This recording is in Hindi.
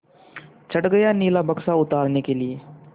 चढ़ गया नीला बक्सा उतारने के लिए